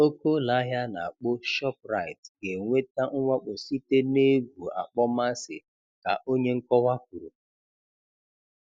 Oke ụlọahịa ana akpo Shop rite ga-enweta mwakpo site n'egwu akpọmasị, ka onye nkọwa kwuru